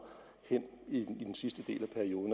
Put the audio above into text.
i den sidste del